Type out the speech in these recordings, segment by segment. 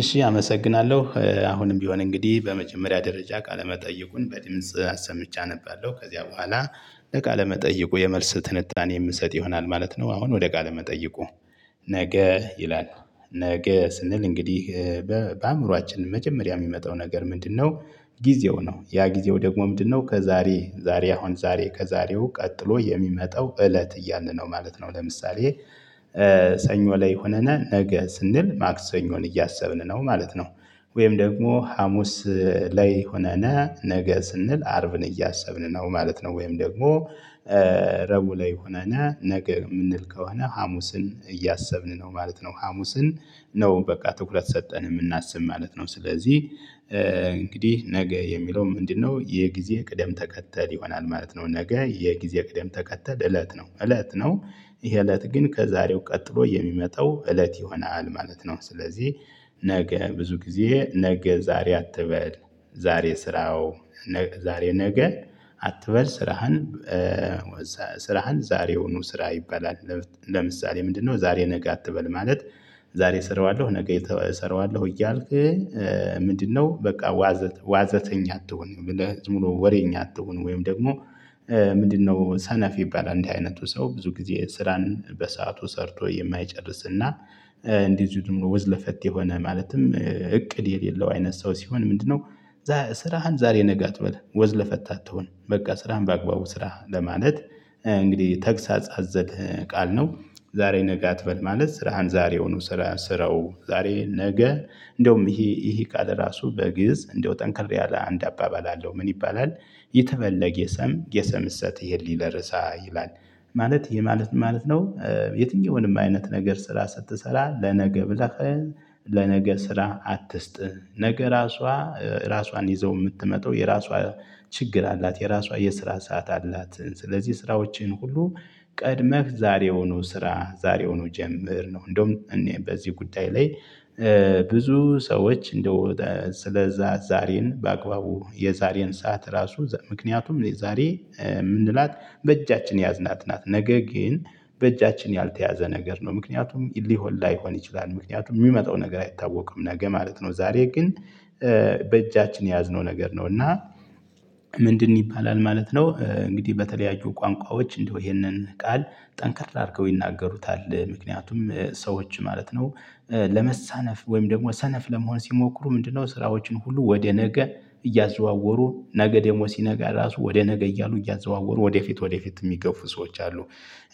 እሺ አመሰግናለሁ አሁንም ቢሆን እንግዲህ በመጀመሪያ ደረጃ ቃለ መጠይቁን በድምጽ አሰምቼ አነባለው ከዚያ በኋላ እቃ ለመጠየቅ የመልስ ትንታኔ የምሰጥ ይሆናል ማለት ነው። አሁን ወደ ቃለ መጠየቁ ነገ ይላል ነገ ስንል እንግዲህ በአእምሮአችን መጀመሪያ የሚመጣው ነገር ምንድነው? ጊዜው ነው ያ ጊዜው ደግሞ ምንድነው ከዛሬ ዛሬ አሁን ዛሬ ከዛሬው ቀጥሎ የሚመጣው እለት እያልን ነው ማለት ነው። ለምሳሌ ሰኞ ላይ ሆነና ነገ ስንል ማክሰኞን እያሰብን ነው ማለት ነው። ወይም ደግሞ ሀሙስ ላይ ሆነነ ነገ ስንል አርብን እያሰብን ነው ማለት ነው። ወይም ደግሞ ረቡዕ ላይ ሆነንነ ነገ የምንል ከሆነ ሀሙስን እያሰብን ነው ማለት ነው። ሀሙስን ነው በቃ ትኩረት ሰጠን የምናስብ ማለት ነው። ስለዚህ እንግዲህ ነገ የሚለው ምንድነው? የጊዜ ቅደም ተከተል ይሆናል ማለት ነው። ነገ የጊዜ ቅደም ተከተል እለት ነው እለት ነው። ይሄ እለት ግን ከዛሬው ቀጥሎ የሚመጣው እለት ይሆናል ማለት ነው። ስለዚህ ነገ ብዙ ጊዜ ነገ ዛሬ አትበል ዛሬ ስራው ዛሬ ነገ አትበል ስራህን ስራህን ዛሬ ውኑ ስራ ይበላል። ለምሳሌ ምንድነው ዛሬ ነገ አትበል ማለት? ዛሬ እሰራዋለሁ ነገ እሰራዋለሁ እያልክ ምንድነው በቃ ዋዘተኛ አትሁን። ዝምብሎ ወሬኛ አትሁን ወይም ደግሞ ምንድነው ሰነፍ ይባላል እንዲህ አይነቱ ሰው ብዙ ጊዜ ስራን በሰአቱ ሰርቶ የማይጨርስና እንደዚሁ ደግሞ ወዝ ለፈት የሆነ ማለትም እቅድ የሌለው አይነት ሰው ሲሆን ምንድነው? ስራህን ዛሬ ነገ አትበል ወዝ ለፈታት አትሁን በቃ ስራህን በአግባቡ ስራ ለማለት። እንግዲህ ተግሳጽ አዘል ቃል ነው። ዛሬ ነገ አትበል ማለት ስራህን ዛሬውኑ ስራ ስራው ዛሬ ነገ እንደውም ይሄ ይሄ ቃል ራሱ በግእዝ እንደው ጠንክር ያለ አንድ አባባል አለው ምን ይባላል? የተለየ ሰም የሰምሰት ይሄ ሊለር እሳ ይላል። ማለት ይሄ ማለት ማለት ነው። የትኛውንም አይነት ነገር ስራ ስትሰራ ለነገ ብለህ ለነገ ስራ አትስጥህ። ነገ ራሷ ራሷን ይዛው የምትመጣው የራሷ ችግር አላት የራሷ የስራ ሰዓት አላት። ስለዚህ ስራዎችን ሁሉ ቀድመህ ዛሬ ውኑ ስራ ዛሬ ውኑ ጀምር ነው። እንደውም እኔ በዚህ ጉዳይ ላይ ብዙ ሰዎች እንደው ስለዛ ዛሬን በአግባቡ የዛሬን ሰዓት ራሱ ምክንያቱም የዛሬ የምንላት በእጃችን የያዝናት ናት ነገ ግን በእጃችን ያልተያዘ ነገር ነው። ምክንያቱም ሊሆን ላይሆን ይችላል ምክንያቱም የሚመጣው ነገር አይታወቅም ነገ ማለት ነው። ዛሬ ግን በእጃችን የያዝነው ነገር ነው። እና ምንድን ይባላል ማለት ነው። እንግዲህ በተለያዩ ቋንቋዎች እንደው ይሄንን ቃል ጠንክር አድርገው ይናገሩታል ምክንያቱም ሰዎች ማለት ነው። ለመሳነፍ ወይም ደግሞ ሰነፍ ለመሆን ሲሞክሩ ምንድነው? ስራዎችን ሁሉ ወደ ነገ እያዘዋወሩ ነገ ደግሞ ሲነጋ ራሱ ወደ ነገ እያሉ እያዘዋወሩ ወደፊት ወደፊት የሚገፉ ሰዎች አሉ።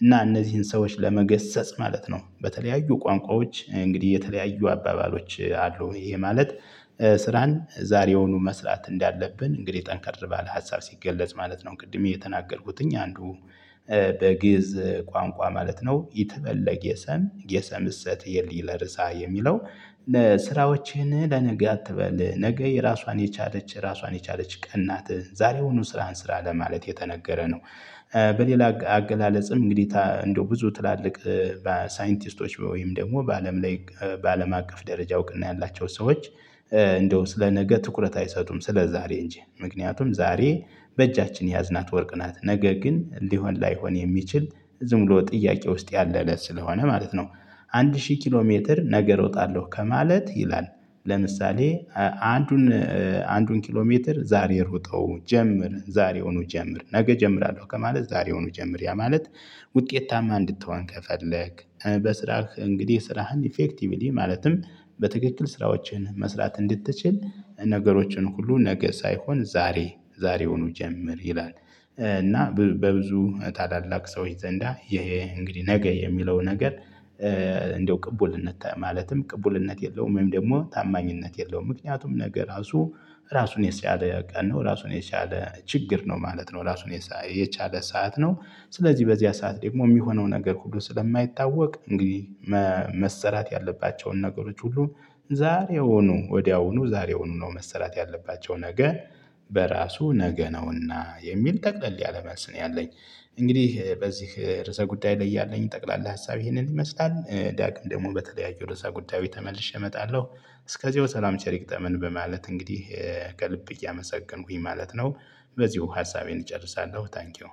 እና እነዚህን ሰዎች ለመገሰጽ ማለት ነው በተለያዩ ቋንቋዎች እንግዲህ የተለያዩ አባባሎች አሉ ይሄ ማለት። ስራን ዛሬውኑ መስራት እንዳለብን እንግዲህ ጠንካራ ባለ ሀሳብ ሲገለጽ ማለት ነው። ቅድም የተናገርኩትኝ አንዱ በግእዝ ቋንቋ ማለት ነው። የተፈለገ የሰም የሰምሰት የእሰት እሳ የሚለው ለስራዎችህን ለነገ አትበል ነገ የራሷን የቻለች ራሷን የቻለች ቀን ናት። ዛሬውኑ ስራን ስራ ለማለት የተነገረ ነው። በሌላ አገላለጽም እንግዲህ እንደው ብዙ ትላልቅ በሳይንቲስቶች ወይም ደግሞ በአለም ላይ በአለም አቀፍ ደረጃ እውቅና ያላቸው ሰዎች እንደው ስለ ነገ ትኩረት አይሰጡም ስለዛሬ እንጂ ምክንያቱም ዛሬ በእጃችን የያዝናት ወርቅ ናት ነገ ግን ሊሆን ላይሆን የሚችል ዝም ብሎ ጥያቄ ውስጥ ያለለ ስለሆነ ማለት ነው። አንድ ሺህ ኪሎ ሜትር ነገር እሮጣለሁ ከማለት ይላል። ለምሳሌ አንዱን አንዱን ኪሎ ሜትር ዛሬ ርጠው ጀምር ዛሬውኑ ጀምር ነገ እጀምራለሁ ከማለት ዛሬውኑ ጀምር ያ ማለት። ውጤታማ እንድትሆን ከፈለክ በስራህ እንግዲህ ስራህን ኢፌክቲቭሊ ማለትም በትክክል ስራዎችን መስራት እንድትችል ነገሮችን ሁሉ ነገ ሳይሆን ዛሬ ዛሬውኑ ጀምር ይላል። እና በብዙ ታላላቅ ሰዎች ዘንዳ ይሄ እንግዲህ ነገ የሚለው ነገር እንደው ቅቡልነት ማለትም ቅቡልነት የለውም። ወይም ደግሞ ታማኝነት የለውም። ምክንያቱም ነገ ራሱ ራሱን የቻለ ቀን ነው። ራሱን የቻለ ችግር ነው ማለት ነው። ራሱን የቻለ ሰዓት ነው። ስለዚህ በዚያ ሰዓት ደግሞ የሚሆነው ነገር ሁሉ ስለማይታወቅ እንግዲህ መሰራት ያለባቸውን ነገሮች ሁሉ ዛሬ ሆኖ ወዲያውኑ ዛሬውኑ ነው መስራት ያለባቸው ነገ በራሱ ነገ ነውና የሚል ጠቅለል ያለ መልስ ነው ያለኝ። እንግዲህ በዚህ ርዕሰ ጉዳይ ላይ ያለኝ ጠቅላላ ሀሳብ ይሄንን ይመስላል። ዳግም ደግሞ በተለያዩ ርዕሰ ጉዳዬች ተመልሼ እመጣለሁ። እስከዚህ ሰላም ቸሪ ይግጠመን በማለት እንግዲህ ከልብ እያመሰገንኩኝ ማለት ነው። በዚሁ ሀሳቤን እጨርሳለሁ። ታንኪው